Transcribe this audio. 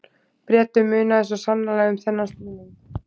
Bretum munaði svo sannarlega um þennan stuðning.